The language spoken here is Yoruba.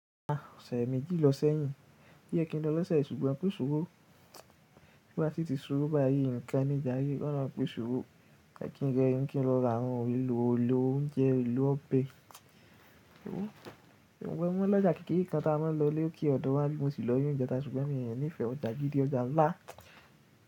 À ọ̀sẹ̀ méjì lọ sẹ́yìn, oyẹ kín lọ lọ́sẹ̀ yi ṣùgbọ́n kòsí owó bí o bá si ti si owó báyìí ǹkan ní jare, kí olóhun pèsè owó. Ẹ̀ kí n rẹ rìn kí n lọ ra àwọn ohun èlò olóúnjẹ, èlò ọbẹ̀. Ohun bẹ́wọ́ mọ́ ọlọ́jà kékeré kan ta a máa ń lọ lò ke ọ̀dọ̀ wá níbí mo ti lọ ní ìjẹta ṣùgbọ́n mii ní ìfẹ́ ọjà gidi, ọjà ńlá.